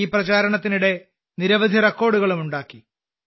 ഈ പ്രചാരണത്തിനിടെ നിരവധി റെക്കോർഡുകളും ഉണ്ടാക്കി